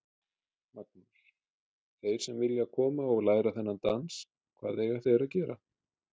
Magnús: Þeir sem vilja koma og læra þennan dans, hvað eiga þeir að gera?